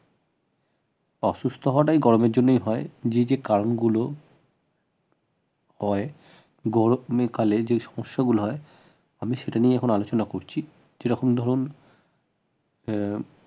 অসুস্থ হওয়াটা এই গরমের জন্যই হয় যে যে কারণগুলো হয় গরমের কালে যে সমস্যাগুলো হয় আমি সেটা নিয়ে এখন আলোচনা করছি যেরকম ধরুন আহ